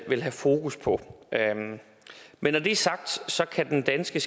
vil have fokus på men når det er sagt kan den danske